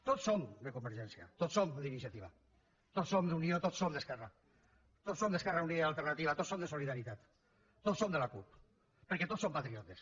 tots som de convergència tots som d’iniciativa tots som d’unió tots som d’esquerra tots som d’esquerra unida i alternativa tots som de solidaritat tots som de la cup perquè tots som patriotes